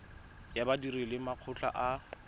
ya badiri le makgotla a